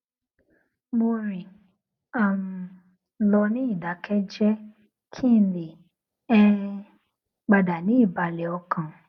mo rìn um lọ ní ìdákéjéé kí n lè um padà ní ìbàlè ọkàn